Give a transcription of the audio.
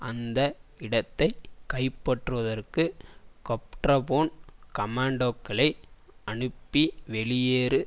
அந்த இடத்தை கைப்பற்றுவதற்கு கொப்டர்போன் கமான்டோக்களை அனுப்பி வெளியேறு